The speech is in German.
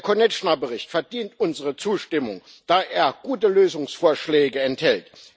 Der Bericht Konečná verdient unsere Zustimmung, da er gute Lösungsvorschläge enthält.